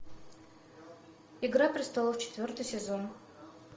игра престолов четвертый сезон